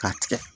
K'a tigɛ